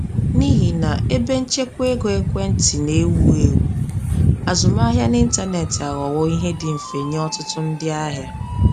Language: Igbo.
N’ihi na ebenchekwaego ekwentị na-ewu ewu, azụmahịa n’ịntanetị aghọwo ihe dị mfe nye ọtụtụ ndị ahịa.